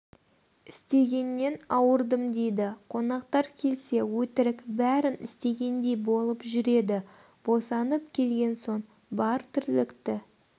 істегеннен ауырдым дейді қонақтар келсе өтірік брін істегендей болып жүреді босанып келген соң бар тірлікті